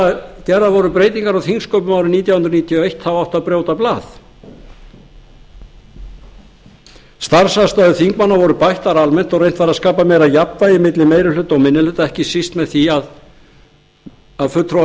þegar gerðar voru breytingar á þingsköpum árið nítján hundruð níutíu og eitt þá átti að brjóta starfsaðstæður þingmanna voru bættar almennt og reynt var að skapa meira jafnvægi milli meiri hluta og minni hluta ekki best með því að fulltrúar